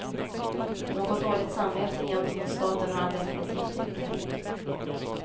Något dåligt samvete gentemot staten har han definitivt inte.